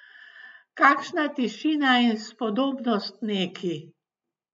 Kakšna tišina in spodobnost neki!